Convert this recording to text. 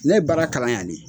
Ne ye baara kalan yan le.